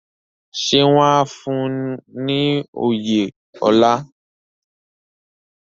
Ṣé wọ́n á fún un ní oyè ọlá?